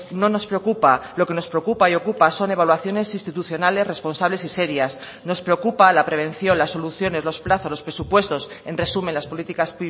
no nos preocupa lo que nos preocupa y ocupa son evaluaciones institucionales responsables y serias nos preocupa la prevención las soluciones los plazos los presupuestos en resumen las políticas